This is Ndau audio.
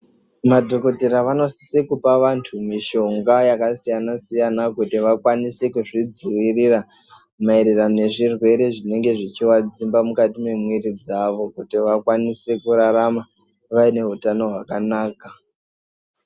Madhokodhera anosisa kupa vantu mishonga yakasiyana-siyana, kuti vakwanise kuzvidzivirira, mayererano nezvirwere zvinenge zvichivadzimba mukati memwiri dzavo, kuti vakwanise kurarama vayine utano hwakanaka.